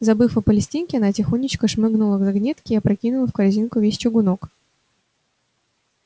забыв о палестинке она тихонечко шмыгнула к загнётке и опрокинула в корзинку весь чугунок